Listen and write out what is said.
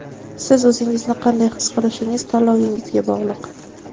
Siz o‘ zingizni qanday his qilishingiz tanlovingizga bog‘liq.